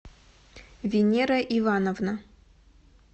венера ивановна